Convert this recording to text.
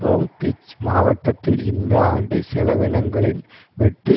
Long Beach மாவட்டத்தில் இந்த ஆண்டு செலவினங்களின் வெட்டு